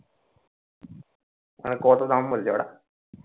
মানে কত দাম বলছে ওরা?